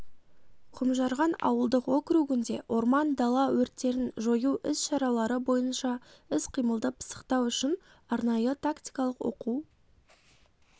құмжарған ауылдық округінде орман дала өрттерін жою іс шаралары бойынша іс-қимылды пысықтау үшін арнайы-тактикалық оқу